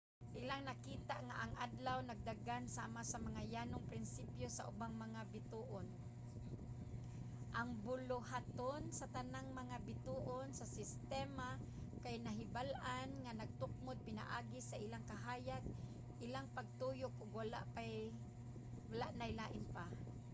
ilang nakita nga ang adlaw nagdagan sama sa mga yanong prinsipyo sa ubang mga bituon: ang buluhaton sa tanang mga bituon sa sistema kay nahibal-an nga natukmod pinaagi sa ilang kahayag ilang pagtuyok ug wala nay lain pa